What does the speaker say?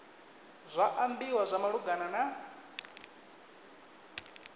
zwa ambiwa zwa malugana na